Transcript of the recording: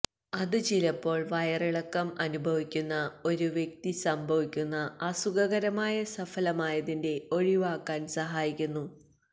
ഇത് ചിലപ്പോൾ വയറിളക്കം അനുഭവിക്കുന്ന ഒരു വ്യക്തി സംഭവിക്കുന്ന അസുഖകരമായ സഫലമായതിന്റെ ഒഴിവാക്കാൻ സഹായിക്കുന്നു